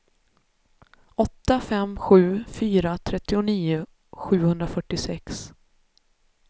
åtta fem sju fyra trettionio sjuhundrafyrtiosex